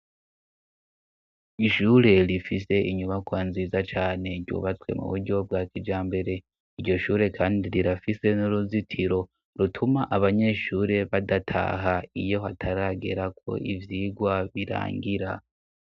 ishure rifise inyubakwa nziza cane ryubatswe mu buryo bwa kijambere. Iryo shure kandi rirafise n'uruzitiro rutuma abanyeshure badataha iyo hataragera ko ivyigwa birangira.